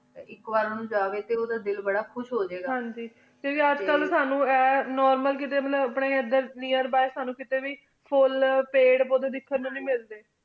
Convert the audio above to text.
ਆਇਕ ਵਾਰ ਉਜੀ ਟੀ ਉੜਾ ਦਿਲ ਬਾਰਾ ਖੁਸ਼ ਹੁਵ੍ਯ ਗਾ ਹਨ ਜੀ ਟੀ ਅਜੇ ਕਲ ਸਾਨੂ ਨੋਰਮਲ near by ਸਾਨੂ ਕੀਤੀ ਵੇ ਫੁਲ ਪਦ ਪੋਡੀ ਦਿਖਣ ਨੂ ਨੀ ਮਿਲਦੀ